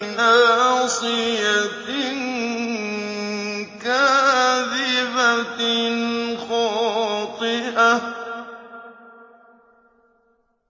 نَاصِيَةٍ كَاذِبَةٍ خَاطِئَةٍ